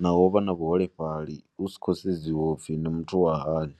naho vha na vhuholefhali hu si khou sedziwa uri ndi muthu wa hani.